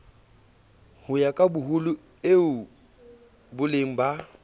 ho ya kaboholo ieboleng ba